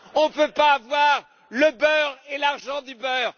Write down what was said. On ne peut pas avoir le beurre et l'argent du beurre.